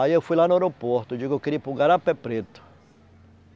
Aí eu fui lá no aeroporto e digo eu queria ir para o Garapé Preto.